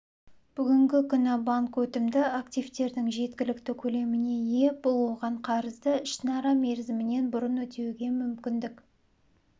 бүгінгі күні банк өтімді активтердің жеткілікті көлеміне ие бұл оған қарызды ішінара мерзімінен бұрын өтеуге мүмкіндік